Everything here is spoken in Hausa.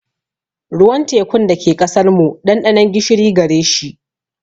Ruwan tekun da ke ƙasar mu, ɗanɗanon gishiri gare shi.